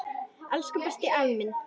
Elsku besti, afi minn.